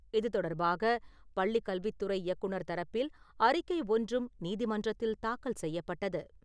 இது தொடர்பாக பள்ளிக் கல்வித்துறை இயக்குநர் தரப்பில் அறிக்கை ஒன்றும் நீதிமன்றத்தில் தாக்கல் செய்யப்பட்டது.